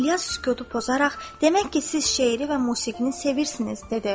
İlyas sükutu pozaraq, demək ki, siz şeiri və musiqini sevirsiz, dedi.